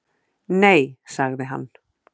Nei, sagði hann.